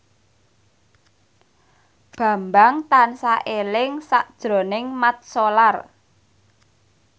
Bambang tansah eling sakjroning Mat Solar